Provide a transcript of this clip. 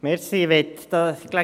Kommissionssprecher der JuKo.